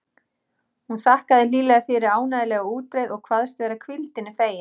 Hún þakkaði hlýlega fyrir ánægjulega útreið og kvaðst vera hvíldinni fegin.